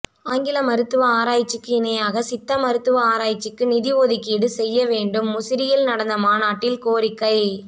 ஆங்கில மருத்துவ ஆராய்ச்சிக்கு இணையாக சித்த மருத்துவ ஆராய்ச்சிக்கு நிதி ஒதுக்கீடு செய்ய வேண்டும் முசிறியில் நடந்த மாநாட்டில் கோரிக்கை